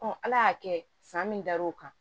ala y'a kɛ san min dar'o kan